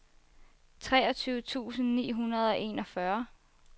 treogtyve tusind ni hundrede og enogfyrre